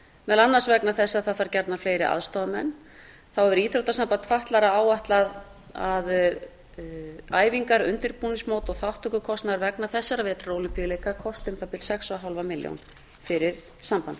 meðal annars vegna þess að það þarf gjarnan fleiri aðstoðarmenn þá hefur íþróttasamband fatlaðra áætlað að æfingar undirbúningsmót og þátttökukostnaður vegna þessara vetrarólympíuleika kosti um það bil sex og hálfa milljón fyrir sambandið